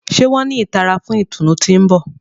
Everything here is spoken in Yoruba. Ṣe wọn ni ìtara fún ìtùnú ti n bọ?